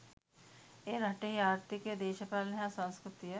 එය රටෙහි ආර්ථීකය දේශපාලනය හා සංස්කෘතිය